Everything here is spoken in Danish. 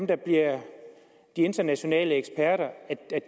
der bliver de internationale eksperter